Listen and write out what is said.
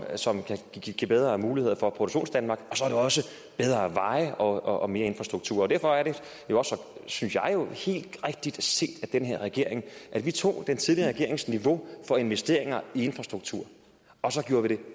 og som kan give bedre muligheder for produktionsdanmark og så er det også bedre veje og og mere infrastruktur derfor er det også synes jeg jo helt rigtigt set af den her regering at vi tog den tidligere regerings niveau for investeringer i infrastruktur og så gjorde vi det